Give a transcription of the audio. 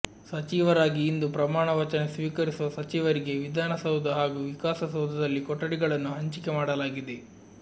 ಸಚಿವರಾಗಿ ಇಂದು ಪ್ರಮಾಣ ವಚನ ಸ್ವೀಕರಿಸಿರುವ ಸಚಿವರಿಗೆ ವಿಧಾನ ಸೌಧ ಹಾಗೂ ವಿಕಾಸ ಸೌಧದಲ್ಲಿ ಕೊಠಡಿಗಳನ್ನು ಹಂಚಿಕೆ ಮಾಡಲಾಗಿದೆ